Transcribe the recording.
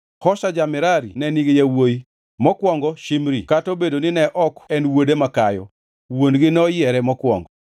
Hosa ja-Merari ne nigi yawuowi, mokwongo Shimri (kata obedo ni ne ok en wuode makayo, wuon-gi noyiere mokwongo),